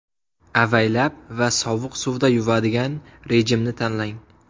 Avaylab va sovuq suvda yuvadigan rejimni tanlang.